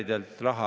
Head kolleegid!